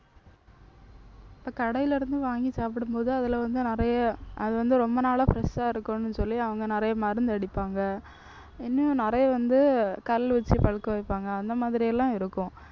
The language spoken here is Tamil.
இப்ப கடையில இருந்து வாங்கி சாப்பிடும்போது அதுல வந்து நிறைய அது வந்து ரொம்ப நாளா fresh ஆ இருக்குன்னு சொல்லி அவங்க நிறைய மருந்து அடிப்பாங்க. இனியும் நிறைய வந்து கல்லு வச்சு பழுக்க வைப்பாங்க. அந்த மாதிரி எல்லாம் இருக்கும்.